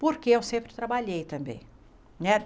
Porque eu sempre trabalhei também né.